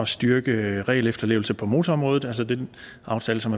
styrke regelefterlevelse på motorområdet altså den aftale som